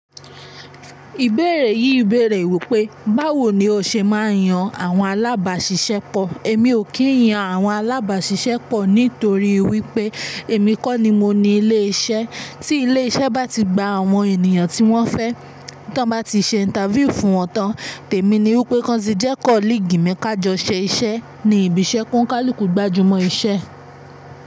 Ìbéèrè yìí bèèrè wípé, báwo ni o ṣe máa yan àwọn alábàáṣiṣẹ́ pọ̀? Èmi ò kí ń yan àwọn alábáṣiṣẹ́ pọ̀ nítorí wípé èmi kọ́ ni mo ni ilé isẹ́. Tí ilé isẹ́ bá ti gba àwọn ènìyàn tí wọ́n fẹ́, tí wọ́n bá ti ṣe interview fún wọn tán, tèmi ni wípé kọ́n ti jẹ́ kóligi mi ká jọ ṣẹ iṣẹ́ ní ibi iṣẹ́. Kọ́ńkálí kù gbajúmọ̀ iṣẹ́.